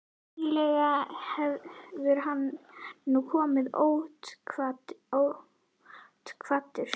Venjulega hefur hann nú komið ótilkvaddur.